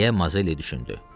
deyə Mazelli düşündü.